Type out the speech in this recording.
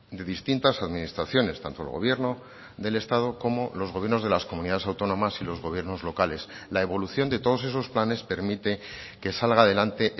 de distintas administraciones tanto el gobierno del estado como los gobiernos de las comunidades autónomas y los gobiernos locales la evolución de todos esos planes permite que salga adelante